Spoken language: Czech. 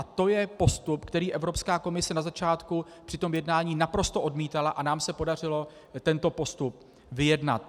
A to je postup, který Evropská komise na začátku při tom jednání naprosto odmítala, a nám se podařilo tento postup vyjednat.